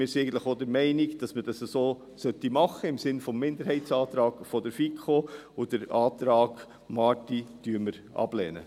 Wir sind eigentlich auch der Meinung, dass wir dies so machen sollten, im Sinne des Minderheitsantrags der FiKo, und den Antrag Marti lehnen wir ab.